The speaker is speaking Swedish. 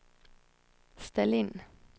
ställ in